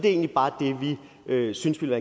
egentlig bare det vi synes ville